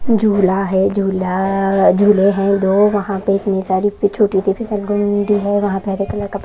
झूला है झूला आ झूले हैं दो वहां पे इतनी सारी छोटी से है वहां पे हरे कलर का --